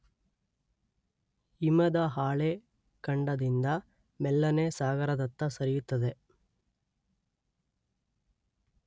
ಹಿಮದ ಹಾಳೆ ಖಂಡದಿಂದ ಮೆಲ್ಲನೆ ಸಾಗರದತ್ತ ಸರಿಯುತ್ತದೆ.